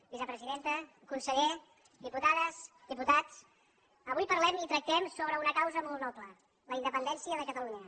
vicepresidenta conseller diputades diputats avui parlem i tractem sobre una causa molt noble la independència de catalunya